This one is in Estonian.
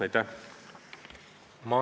Aitäh!